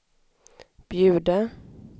bjuda